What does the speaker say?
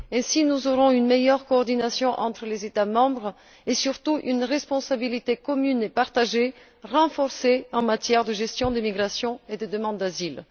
Ainsi, nous aurons une meilleure coordination entre les États membres et surtout une responsabilité commune et partagée renforcée en matière de gestion des migrations et des demandes d'asile.